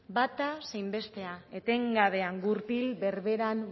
bata zein bestea etengabean gurpil berberean